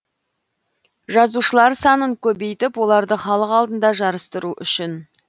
жазылушылар санын көбейтіп оларды халық алдында жарыстыру үшін